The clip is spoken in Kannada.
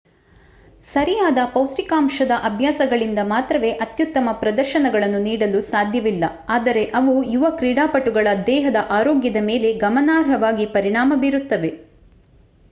ಸರಿಯಾದ ಪೌಷ್ಠಿಕಾಂಶದ ಅಭ್ಯಾಸಗಳಿಂದ ಮಾತ್ರವೇ ಅತ್ಯುತ್ತಮ ಪ್ರದರ್ಶನಗಳನ್ನು ನೀಡಲು ಸಾಧ್ಯವಿಲ್ಲ ಆದರೆ ಅವು ಯುವ ಕ್ರೀಡಾಪಟುಗಳ ದೇಹದ ಆರೋಗ್ಯದ ಮೇಲೆ ಗಮನಾರ್ಹವಾಗಿ ಪರಿಣಾಮ ಬೀರುತ್ತವೆ